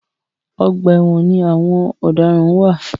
Ọgbà ẹwọn ni àwọn ọ̀daràn ń wà.